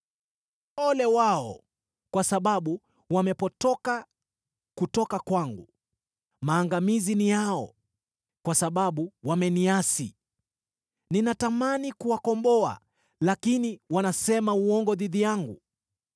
Ole wao, kwa sababu wamepotoka kutoka kwangu! Maangamizi ni yao kwa sababu wameniasi! Ninatamani kuwakomboa, lakini wanasema uongo dhidi yangu.